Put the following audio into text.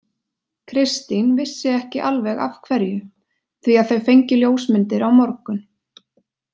Kristín vissi ekki alveg af hverju því að þau fengju ljósmyndir á morgun.